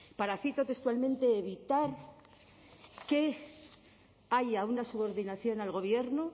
para cito textualmente evitar que haya una subordinación al gobierno